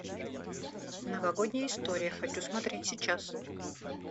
новогодняя история хочу смотреть сейчас